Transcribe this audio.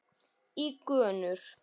í gönur.